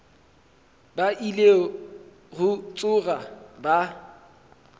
ba ile go tsoga ba